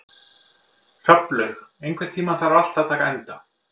Hrafnlaug, einhvern tímann þarf allt að taka enda.